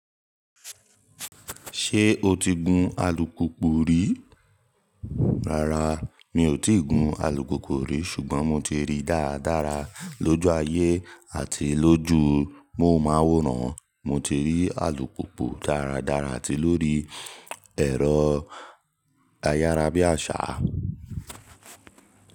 Ṣé o ti gun alùpùpù rí? Rárá mi ò ti gun alùpùpù rí ṣùgbọ́n mo ti ríi dáradára lójú ayé àti lójú móhùnmáwòrán. Mo ti rí alùpùpù dáradára àti lórí ẹ̀rọ ayárabíàṣá.